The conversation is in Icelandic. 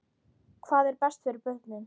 Hvað er best fyrir börnin?